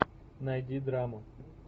найди драму